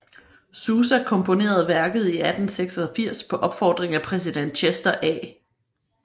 Sousa komponerede værket i 1886 på opfordring af præsident Chester A